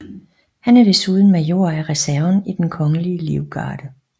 Han er desuden major af reserven i Den Kongelige Livgarde